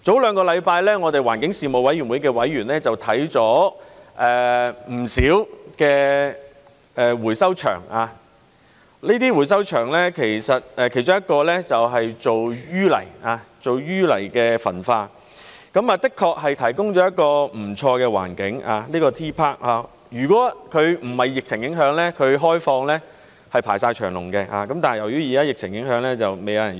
兩星期前，我們環境事務委員會的委員看了不少的回收場，其中一個是做淤泥焚化，而這個 T.PARK 的確提供了一個不錯的環境，如果不是疫情影響，它開放時是排長龍的，但現在由於疫情影響則沒有人用。